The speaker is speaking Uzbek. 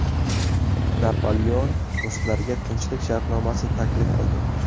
Napoleon ruslarga tinchlik shartnomasi taklif qildi.